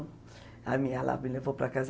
Aí ela me levou para casa.